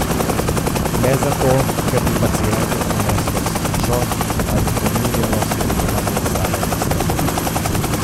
Ne zato, ker bi pacientu prineslo srečo ali pomirjeno sprejemanje samega sebe.